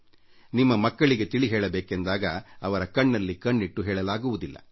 ನಿಮ್ಮ ಮಕ್ಕಳಿಗೆ ತಿಳಿ ಹೇಳಬೇಕೆಂದಾಗ ಅವರ ಕಣ್ಣಲ್ಲಿ ಕಣ್ಣಿಟ್ಟು ಹೇಳಲಾಗುವುದಿಲ್ಲ